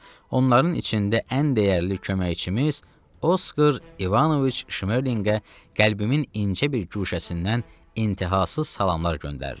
onların içində ən dəyərli köməkçimiz Oskar İvanoviç Şmerlinqə qəlbimin incə bir guşəsindən intihasız salamlar göndərirəm.